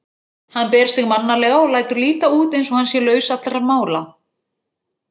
Hann ber sig mannalega og lætur líta út eins og hann sé laus allra mála.